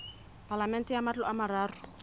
palamente ya matlo a mararo